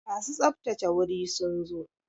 Masu tsaftsace wuri sun zo?